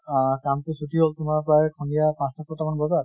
আহ কাম টো ছুটী হল তোমাৰ প্ৰেয়ে সন্ধিয়া পাঁছ টা ছ্টা মান বজাত।